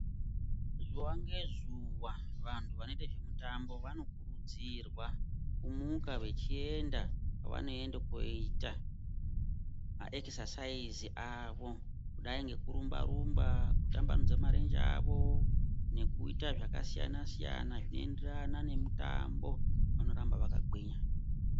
Zuwa ngezuwa vantu vanoite zvemitambo vanokurudzirwa kumuka vechienda kwavanoende koita zvekunyarutsa mwiri awo kungadai nekurumba rumba, kutambanudze marenje awo nekuita zvakasiyana siyana zvinoenderana nemitambo. Vanoramba vakagwinya.